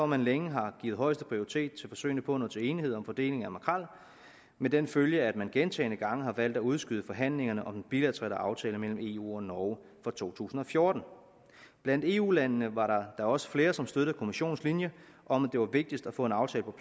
man længe har givet højeste prioritet til forsøgene på at nå til enighed om fordelingen af makrel med den følge at man gentagne gange har valgt at udskyde forhandlingerne om den bilaterale aftale mellem eu og norge for to tusind og fjorten blandt eu landene var der da også flere som støttede kommissionens linje om at det var vigtigst at få en aftale